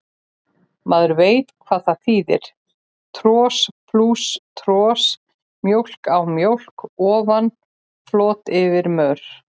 Maður veit hvað það þýðir, tros plús tros, mjólk á mjólk ofan, flot yfir mör.